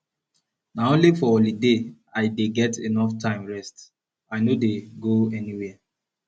na only for holiday i dey get enough time rest i no dey go anywhere